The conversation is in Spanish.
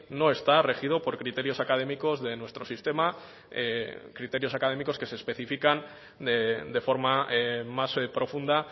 no está regido por criterios académicos de nuestro sistema criterios académicos que se especifican de forma más profunda